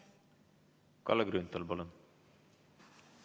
Kalle Grünthal, palun!